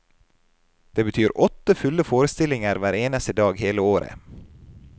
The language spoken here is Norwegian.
Det betyr åtte fulle forestillinger hver eneste dag hele året.